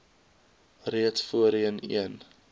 reeds voorheen een